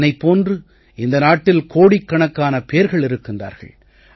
என்னைப் போன்று இந்த நாட்டில் கோடிக்கணக்கான பேர்கள் இருக்கிறார்கள்